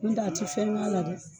N'o tɛ a ti fɛn k'a la dɛ